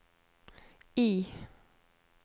I